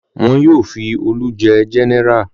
Wọn yóò fi Olú jẹ gẹ́nẹrà.